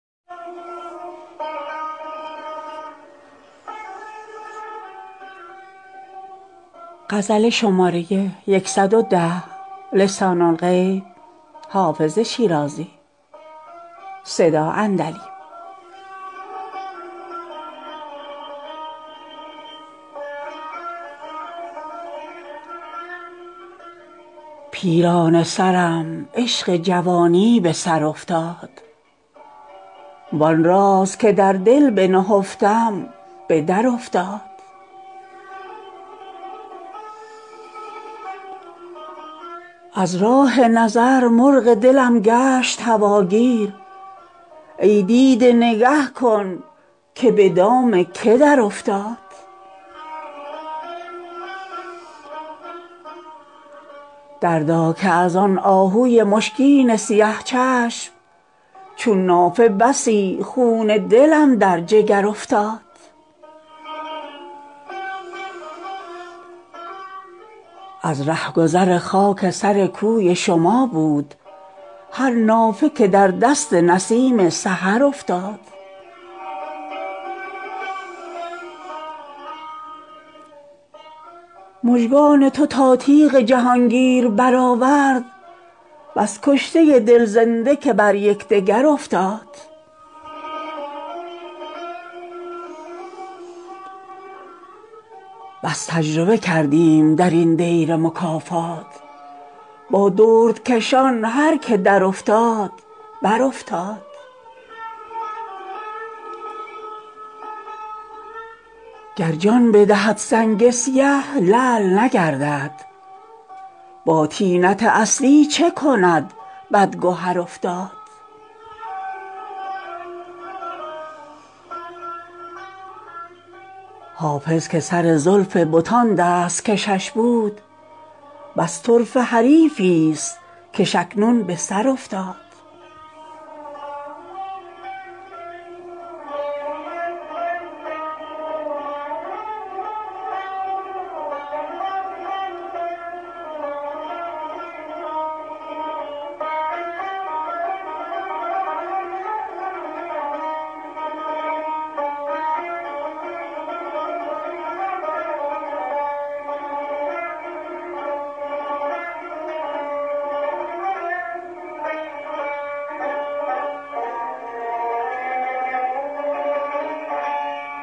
پیرانه سرم عشق جوانی به سر افتاد وآن راز که در دل بنهفتم به درافتاد از راه نظر مرغ دلم گشت هواگیر ای دیده نگه کن که به دام که درافتاد دردا که از آن آهوی مشکین سیه چشم چون نافه بسی خون دلم در جگر افتاد از رهگذر خاک سر کوی شما بود هر نافه که در دست نسیم سحر افتاد مژگان تو تا تیغ جهانگیر برآورد بس کشته دل زنده که بر یکدگر افتاد بس تجربه کردیم در این دیر مکافات با دردکشان هر که درافتاد برافتاد گر جان بدهد سنگ سیه لعل نگردد با طینت اصلی چه کند بدگهر افتاد حافظ که سر زلف بتان دست کشش بود بس طرفه حریفی ست کش اکنون به سر افتاد